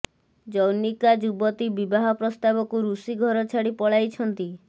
ଜନୈକା ଯୁବତୀ ବିବାହ ପ୍ରସ୍ତାବକୁ ଋଷି ଘର ଛାଡି ପଳାଇଛନ୍ତି